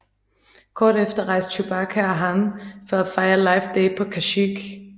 Kort efter rejste Chewbacca og Han for at fejre Life Day på Kashyyyk